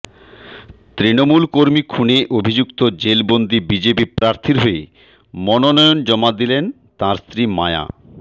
তৃণমূল কর্মী খুনে অভিযুক্ত জেলবন্দি বিজেপি প্রার্থীর হয়ে মনোনয়ন পত্র জমা দিলেন তাঁর স্ত্রী মায়া